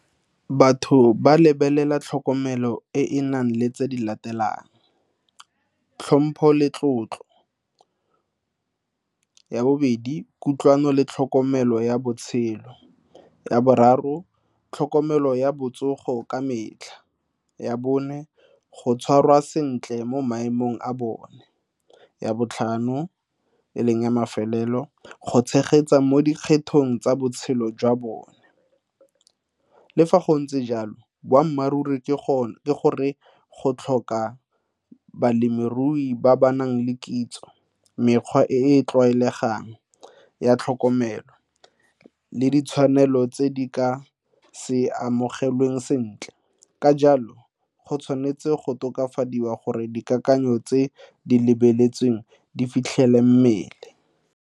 Batho ba lebelela tlhokomelo e e nang le tse di latelang, tlhompho le tlotlo. Ya bobedi, kutlwano le tlhokomelo ya botshelo. Ya boraro, tlhokomelo ya botsogo ka metlha ya bone go tshwarwa sentle mo maemong a bone. Ya botlhano e leng ya mafelelo, go tshegetsa mo dikgetho eng tsa botshelo jwa bone le fa go ntse jalo boammaaruri ke gore go tlhoka balemirui ba ba nang le kitso mekgwa e e tlwaelegang ya tlhokomelo le ditshwanelo tse di ka se amogelwang sentle ka jalo go tshwanetse go tokafadiwa gore dikakanyo tse di lebeletsweng di fitlhele mmele.